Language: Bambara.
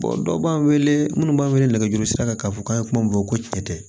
dɔw b'an wele munnu b'an wele nɛgɛjurusira kan k'a fɔ k'an ye kuma min fɔ ko tiɲɛ tɛ